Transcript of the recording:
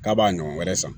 K'a b'a ɲɔgɔn wɛrɛ san